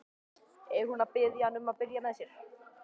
Er hún að biðja hann um að byrja með sér?